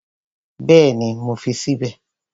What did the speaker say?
Bẹ́ẹ̀ni, mo fi sí bẹ̀